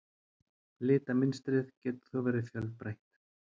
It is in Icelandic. Litamynstrið getur þó verið fjölbreytt.